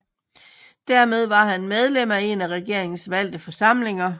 Dermed var han medlem af en af regeringens valgte forsamlinger